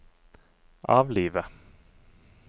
avlive